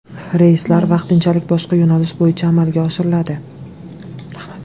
Reyslar vaqtinchalik boshqa yo‘nalish bo‘yicha amalga oshiriladi.